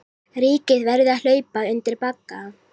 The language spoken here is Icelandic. Ríkið verði að hlaupa undir bagga